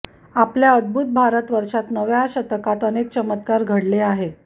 आपल्या अद्भूत भारतवर्षात नव्या शतकात अनेक चमत्कार घडले आहेत